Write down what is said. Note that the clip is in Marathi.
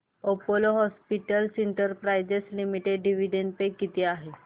Apollo hospitals enterprise limited dividend pay किती आहे